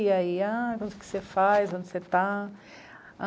E aí, ah, o que você faz, onde você está?